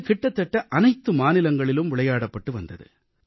இது கிட்டத்தட்ட அனைத்து மாநிலங்களிலும் விளையாடப்பட்டு வந்தது